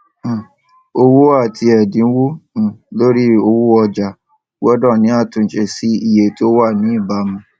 um owó àti èdínwó um lórí owó ọjà gbódò ní àtúnṣe sí iye tó wà ní ìbámu